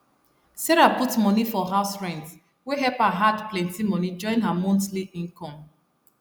sarah put money for house rent wey help her add plenty money join her monthly income